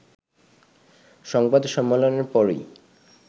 সংবাদ সম্মেলনের পরই